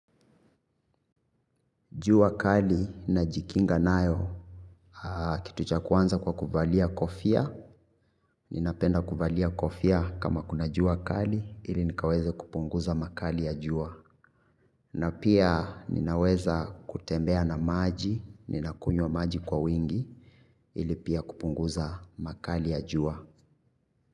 Jua kali najikinga nayo, kitu cha kwanza kwa kuvalia kofia, ninapenda kuvalia kofia kama kuna jua kali, ili nikaweze kupunguza makali ya jua. Na pia ninaweza kutembea na maji, ninakunywa maji kwa wingi, ili pia kupunguza makali ya jua.